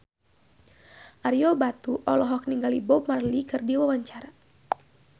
Ario Batu olohok ningali Bob Marley keur diwawancara